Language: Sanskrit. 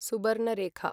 सुबर्नरेखा